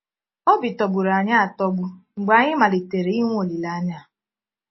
Obi tọgbùrù anyị atọ́gbù mgbe anyị malitere inwe olílèányà a.